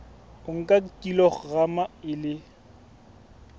o nka kilograma e le